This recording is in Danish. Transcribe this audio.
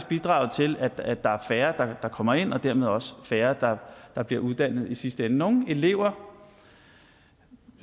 bidraget til at at der er færre der kommer ind og dermed også færre der bliver uddannet i sidste ende nogle elever